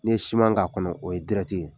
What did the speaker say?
N'i ye siman k'a kɔnɔ, o ye dirɛti ye.